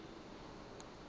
tla re ka le le